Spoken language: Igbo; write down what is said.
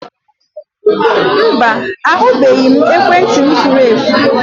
Mba, ahụbeghị m ekwentị m furu efu